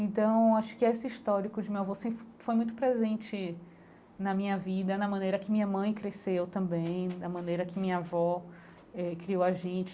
Então acho que esse histórico de meu avô sempre foi muito presente na minha vida, na maneira que minha mãe cresceu também, da maneira que minha avó eh criou a gente.